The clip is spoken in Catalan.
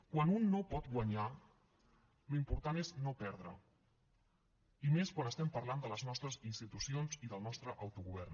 quan un no pot guanyar l’important és no perdre i més quan estem parlant de les nostres institucions i del nostre autogovern